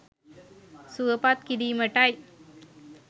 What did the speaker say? සුවපත් කිරීමටයි.